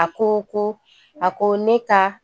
A ko ko, a ko ne ka